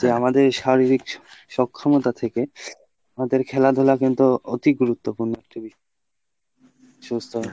তো আমাদের শারীরিক সক্ষমতা থেকে আমাদের খেলাধুলা কিন্তু অতি গুরুত্বপূর্ন সুস্থ